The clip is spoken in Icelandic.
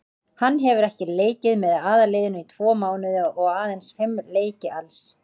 Hann hefur ekkert leikið með aðalliðinu í tvo mánuði og aðeins fimm leiki alls.